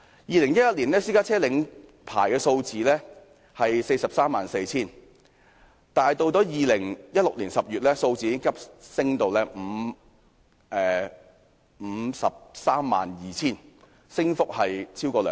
2011年，私家車領牌數字約為 434,000， 到了2016年10月，有關數字急速上升至 532,000， 升幅超過兩成。